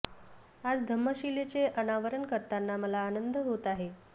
आज धम्म शिलेचे अनावरण करताना मला आनंद होत आहे